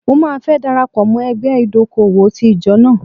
Mo máa fẹ́ dara pọ̀ mọ́ ẹgbẹ́ ìdókòwò ti ìjọ náà.